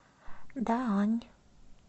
даань